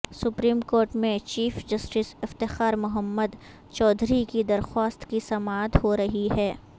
supreme court میں chief justice Iftikhar Muhammad Chaudhry کی درخواست کی سماعت ہو رہی ہے